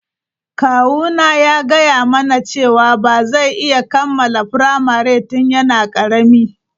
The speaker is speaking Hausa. Kawuna ya gaya mana cewa ba zai iya kammala firamare tun yana karami.